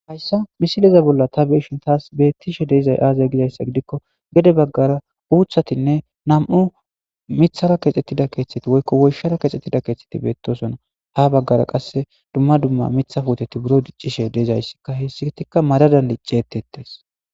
hayssa misileza bolla ta beeshin taas beettishe deezay aazay gizayssa gidikko gede baggara uuthatinne nam7u mithara kexxettida keeththeti woykko woyshara kexxettida keeththeti beettosona ha baggara qasse dumma dumma mitha fuuteti buro diccishe deezayssika hissikitikka madadan liccettettes